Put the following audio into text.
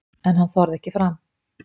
En hann þorði ekki fram.